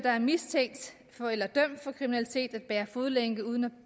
er mistænkt for eller dømt for kriminalitet at bære fodlænke uden at